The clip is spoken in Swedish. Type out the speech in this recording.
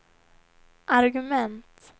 argument